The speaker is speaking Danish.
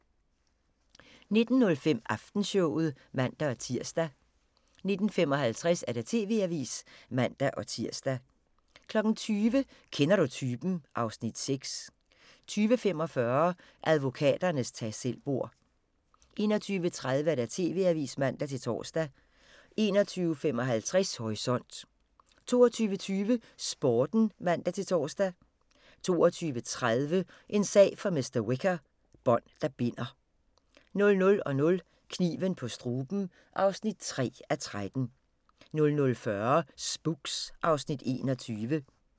19:05: Aftenshowet (man-tir) 19:55: TV-avisen (man-tir) 20:00: Kender du typen? (Afs. 6) 20:45: Advokaternes tag selv-bord 21:30: TV-avisen (man-tor) 21:55: Horisont 22:20: Sporten (man-tor) 22:30: En sag for mr. Whicher: Bånd der binder 00:00: Kniven på struben (3:13) 00:40: Spooks (Afs. 21)